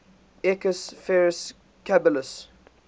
equus ferus caballus